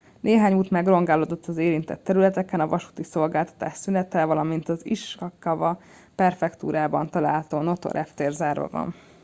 néhány út megrongálódott az érintett területeken a vasúti szolgáltatás szünetel valamint az ishikawa prefektúrában található noto reptér zárva van